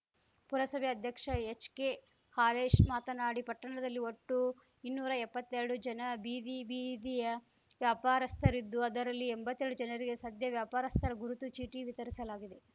ಪುರಸಭೆ ಅಧ್ಯಕ್ಷ ಎಚ್‌ಕೆಹಾಲೇಶ್‌ ಮಾತನಾಡಿ ಪಟ್ಟಣದಲ್ಲಿ ಒಟ್ಟು ಇನ್ನೂರಾ ಎಪ್ಪತ್ತೆರಡು ಜನ ಬೀದಿ ಬೀದಿಯ ವ್ಯಾಪಾರಸ್ಥರಿದ್ದು ಅವರಲ್ಲಿ ಎಂಬತ್ತೆರಡು ಜನರಿಗೆ ಸದ್ಯ ವ್ಯಾಪಾರಸ್ಥರ ಗುರುತು ಚೀಟಿ ವಿತರಿಸಲಾಗಿದೆ